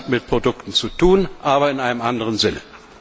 Das hat mit Produkten zu tun, aber in einem anderen Sinne!